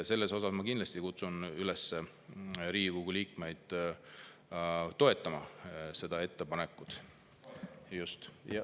Ma kindlasti kutsun Riigikogu liikmeid üles toetama seda ettepanekut.